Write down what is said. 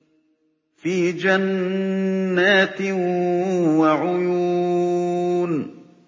فِي جَنَّاتٍ وَعُيُونٍ